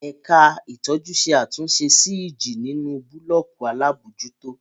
Ẹ̀ka ìtọ́jú ṣe àtúnṣe sí ìjì nínú búlọ́ọ̀kù alábòójútó.